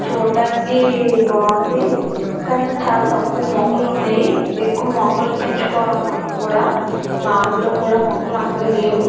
చూడ్డానికి బాగుంది. కానీ తక్కువ మొక్కలు ఉన్నాయి. మొక్కలు పెంచుకోవాలి మనం కూడా. మా ఊర్లో కూడా అంతగా మొక్కలు లేవు.